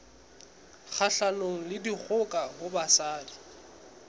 kgahlanong le dikgoka ho basadi